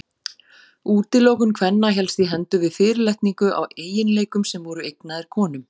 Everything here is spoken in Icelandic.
Útilokun kvenna hélst í hendur við fyrirlitningu á eiginleikum sem voru eignaðir konum.